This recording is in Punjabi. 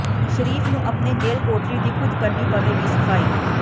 ਸ਼ਰੀਫ ਨੂੰ ਆਪਣੇ ਜੇਲ੍ਹ ਕੋਠਰੀ ਦੀ ਖੁਦ ਕਰਨੀ ਪਵੇਗੀ ਸਫਾਈ